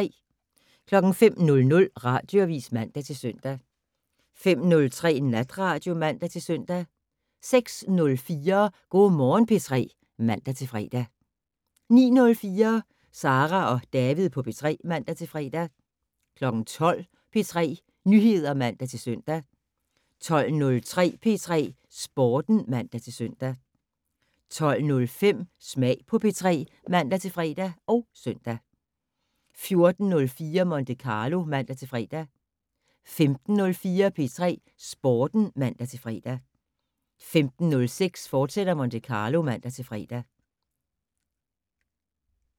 05:00: Radioavis (man-søn) 05:03: Natradio (man-søn) 06:04: Go' Morgen P3 (man-fre) 09:04: Sara og David på P3 (man-fre) 12:00: P3 Nyheder (man-søn) 12:03: P3 Sporten (man-søn) 12:05: Smag på P3 (man-fre og søn) 14:04: Monte Carlo (man-fre) 15:04: P3 Sporten (man-fre) 15:06: Monte Carlo, fortsat (man-fre)